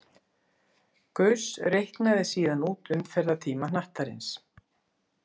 Gauss reiknaði síðan út umferðartíma hnattarins.